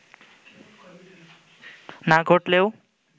না ঘটলেও